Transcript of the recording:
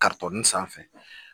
sanfɛ